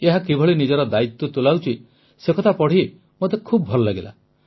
ଏହା କିଭଳି ନିଜର ଦାୟିତ୍ୱ ତୁଲାଉଛି ସେକଥା ପଢ଼ି ମୋତେ ବହୁତ ଭଲ ଲାଗିଲା